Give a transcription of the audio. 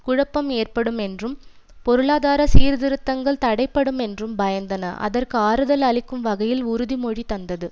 குழப்பம் ஏற்படும் என்றும் பொளாதார சீர்திருத்தங்கள் தடைபடுமென்றும் பயந்தன அதற்கு ஆறுதல் அளிக்கும் வகையில் உறுதிமொழி தந்தது